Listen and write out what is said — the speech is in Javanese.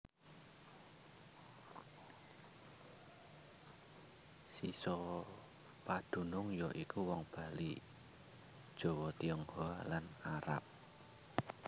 Sisa padunung ya iku wong Bali Jawa Tionghoa lan Arab